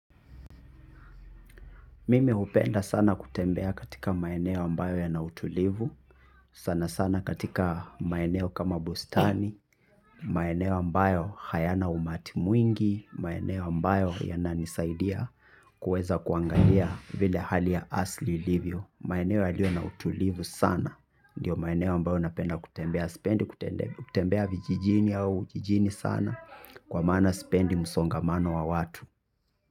Mimi hupenda sana kutembea katika maeneo ambayo yana utulivu. Sana sana katika maeneo kama bustani maeneo ambayo hayana umati mwingi. Maeneo ambayo yana nisaidia kuweza kuangalia vile hali ya asili ilivyo. Maeneo yaliyo na utulivu sana. Ndiyo maeneo ambayo napenda kutembea spendi kutembea vijijini au jijini sana. Kwa maana sipendi msongamano wa watu.